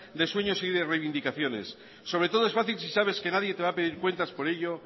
de sueños y de reivindicaciones sobre todo es fácil si sabes que nadie te va a pedir cuentas por ello